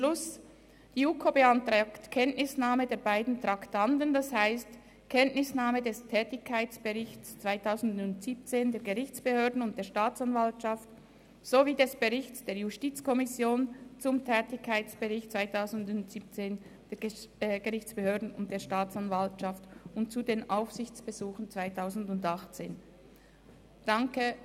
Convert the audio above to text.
Die JuKo beantragt Kenntnisnahme der beiden Traktanden, das heisst Kenntnisnahme des Tätigkeitsberichts 2017 der Gerichtsbehörden und der Staatsanwaltschaft sowie des Berichts der JuKo zum Tätigkeitsbericht 2017 der Gerichtsbehörden und der Staatsanwaltschaft und zu den Aufsichtsbesuchen 2018.